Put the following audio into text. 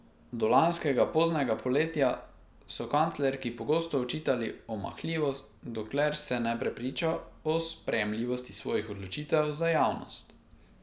Do lanskega poznega poletja so kanclerki pogosto očitali omahljivost, dokler se ne prepriča o sprejemljivosti svojih odločitev za javnost.